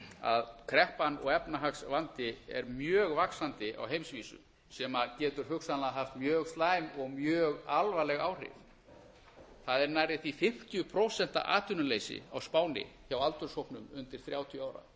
að kreppan og efnahagsvandi er mjög vaxandi á heimsvísu sem getur hugsanlega haft mjög slæm og mjög alvarleg áhrif það er nærri því fimmtíu prósent atvinnuleysi á spáni hjá aldurshópnum undir þrjátíu ára